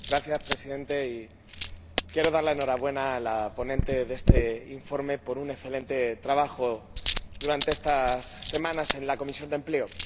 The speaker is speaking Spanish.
Señora Presidenta, quiero dar la enhorabuena a la ponente de este informe por su excelente trabajo durante estas semanas en la Comisión de Empleo.